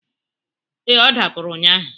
Ee, ọ dapụrụ ụnyaahụ.